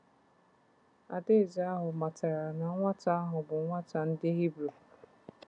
Adaeze ahụ matara na nwata ahụ bụ nwa ndị Hibru.